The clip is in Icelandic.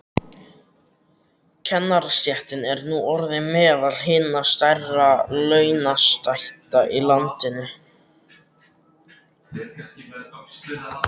Kennarastéttin er nú orðin meðal hinna stærri launastétta í landinu.